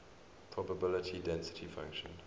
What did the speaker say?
probability density function